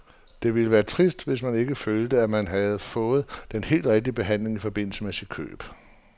Det ville være trist, hvis man ikke følte, at man havde fået den helt rigtige behandling i forbindelse med sit køb.